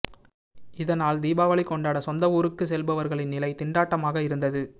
இதனால் தீபாவளி கொண்டாட சொந்த ஊருக்கு செல்பவர்களின் நிலை திண்டாட்டமாக இருந்தது